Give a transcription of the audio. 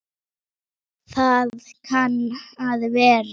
Það kann að vera